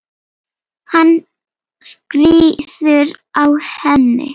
Hann skríður á henni.